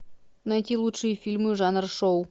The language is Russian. найти лучшие фильмы жанра шоу